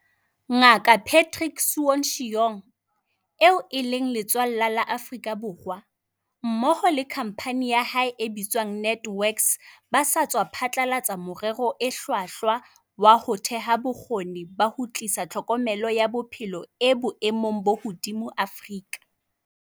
Nga kaPatrick Soon-Shiong, eo e leng letswallwa la Afrika Borwa, mmoho le khampani ya hae e bitswang NantWorks ba sa tswa phatlalatsa morero o hlwahlwa wa ho theha bokgoni ba ho tlisa tlhokomelo ya bophelo e boemong bo hodimo Afrika.